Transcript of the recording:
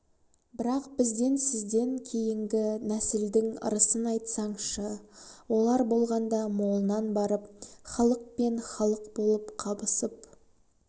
бірақ бізден сізден кейінгі нәсілдің ырысын айтсаншы олар болғанда молынан барып халық пен халық болып қабысып